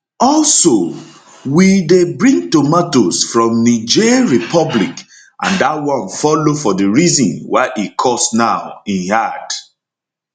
also we dey bring tomatoes from niger republic and dat one follow for di reason why e cost now im add